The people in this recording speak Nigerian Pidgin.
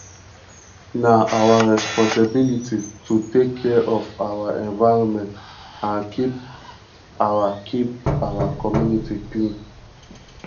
na our responsibility to take care of our environment and keep our keep our community clean